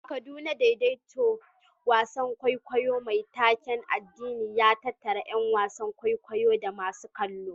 A Kaduna, daidaita wasan kwaikwayo mai taken addini ya tattara ƴan wasan kwaikwayo da masu kallo.